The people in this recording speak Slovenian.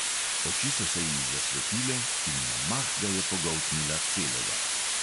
Oči so se ji zasvetile in na mah ga je pogoltnila celega.